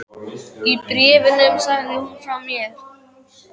Í bréfunum sagði hún mér frá